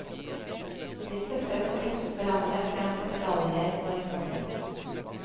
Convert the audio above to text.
Vi støttet og løftet hverandre frem til medaljer og rekorder.